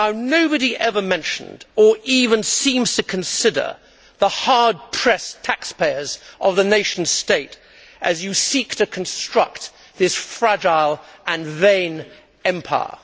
Nobody ever mentioned, or even seems to consider, the hard pressed taxpayers of the nation state as you seek to construct this fragile and vain empire.